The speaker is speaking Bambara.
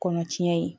Kɔnɔ tiɲɛ ye